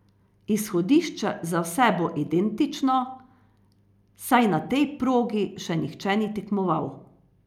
Izhodišče za vse bo identično, saj na tej progi še nihče ni tekmoval.